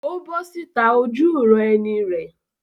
Ó bọ́ síta ojúuran-ẹni rẹ̀?